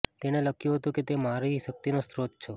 તેણે લખ્યુ હતુ કે તુ મારી શક્તિનો સ્ત્રોત છો